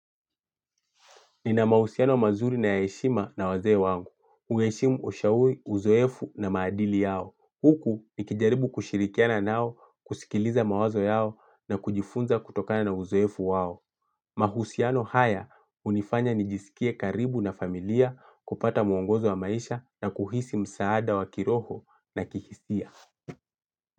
Nina mahusiano mazuri na ya heshima na wazee wangu. Uheshimu ushauri, uzoefu na maadili yao. Huku nikijaribu kushirikiana nao, kusikiliza mawazo yao na kujifunza kutokana na uzoefu wao. Mahusiano haya hunifanya nijisikie karibu na familia kupata mwongozo wa maisha na kuhisi msaada wa kiroho na kihistia.